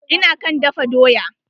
Ina kan dafa doya.